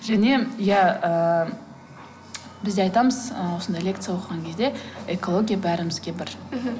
және иә ііі бізде айтамыз осындай лекция оқыған кезде экология бәрімізге бір мхм